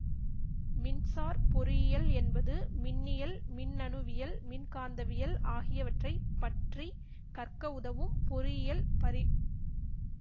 மின்சார் பொறியியல் என்பது மின்னியல் மின்னணுவியல் மின்காந்தவியல் ஆகியவற்றை பற்றி கற்க உதவும் பொறியியல் பரி